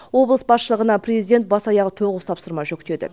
облыс басшылығына президент бас аяғы тоғыз тапсырма жүктеді